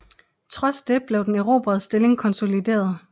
Trods det blev den erobrede stilling konsolideret